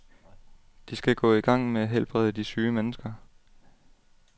De skal gå i gang med at helbrede de syge mennesker.